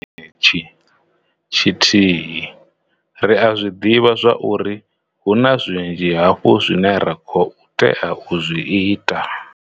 Tshenetshi tshi thihi, ri a zwi ḓivha zwauri hu na zwinzhi hafhu zwine ra khou tea u zwi ita.